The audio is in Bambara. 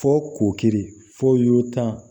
Fɔ k'o kiri fɔ y'o tan